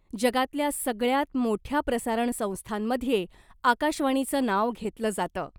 जगातल्या सगळ्यात मोठ्या प्रसारण संस्थांमध्ये आकाशवाणीचं नाव घेतलं जातं .